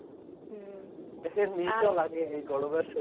একটু নিয়ে চল আগে এই গরম আর